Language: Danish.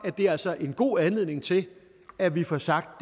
det altså en god anledning til at vi får sagt